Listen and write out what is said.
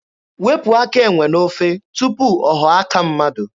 Wepụ aka enwe n'ofe tupu ọ ghọọ aka mmadụ!